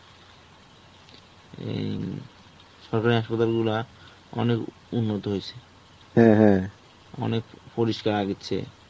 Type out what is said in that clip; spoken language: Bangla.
এই অ্যাঁ সরকারি হাসপাতাল গুলা অনেক উন্নত হয়েছে. অনেক পরিষ্কার আগের চেয়ে.